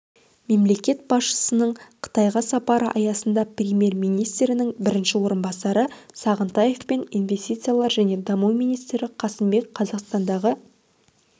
мемлекет басшысының қытайға сапары аясында премьер-министрінің бірінші орынбасары сағынтаев пен инвестициялар және даму министрі қасымбек қазақстандағы